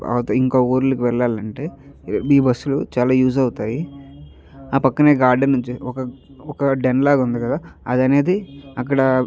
తర్వాత ఇంకా ఊర్లకు వెళ్లాలంటే ఈ బస్సు లు చాలా యూజ్ అవుతాయి ఆ పక్కనే గార్డెన్స్ ఉంది ఒక ఒక డెన్ లాగా ఉంది కదా అది అనేది అక్కడ --